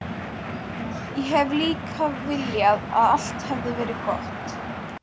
Ég hefði líka viljað að allt hefði verið gott.